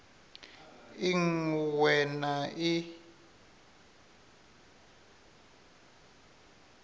i ṅ we na i